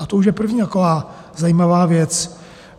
A to už je první taková zajímavá věc.